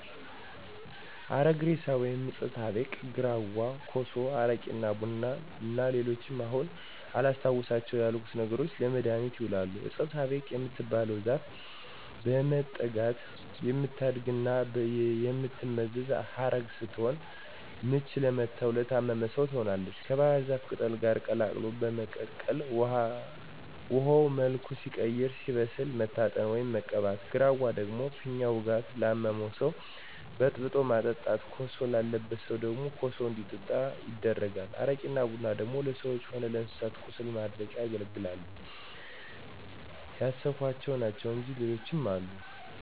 1. አረግ እሬሳ ወይም ዕጸ ሳቤቅ፣ 2. ግራዋ፣ 3. ኮሶ፣ 4. አረቂ እና ቡና እና ሌሎችም አሁን አላስታውሳቸው ያልኩት ነገሮች ለመድሀኒትነት ይውላሉ። ዕጸ ሳቤቅ የምትባለው ዛፍ በመጠጋት የምታድግና የምትመዘዝ ዐረግ ስትሆን ምች ለመታውና ለታመመ ሰው ትሆናለች ከባሕር ዛፍ ቅጠል ጋር ቀላቅሎ በመቀቀል ውሀው መልኩ ሲቀይርና ሲበስል መታጠን፣ ወይም መቀባት። ግራዋ ደግሞ ፊኛ ውጋት ላመመው ሰው በጥብጦ ማጠጣት። ኮሶ ላለበት ሰው ደግሞ ኮሱ እንዲጠጣ ይደረጋል። አረቂና ቡና ደግሞ ለሰዎችም ሆነ ለእንስሳት ቁስል ማድረቂያነት ያገለግላል። ያሰብኋቸው ናቸው እንጅ ሌሎችም አሉ።